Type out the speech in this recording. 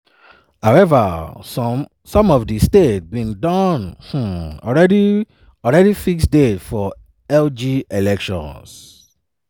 however some of di states bin don um already already fix dates for lg elections.